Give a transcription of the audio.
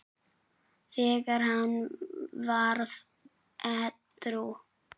þegar hann varð edrú.